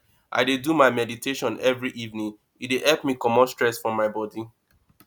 i dey do meditation every evening e dey help me comot stress from my bodi